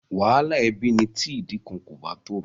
Wàhálà ẹbí ni tí ìdí kan kò bá tòrò.